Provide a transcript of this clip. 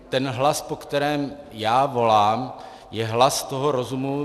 Ten hlas, po kterém já volám, je hlas toho rozumu.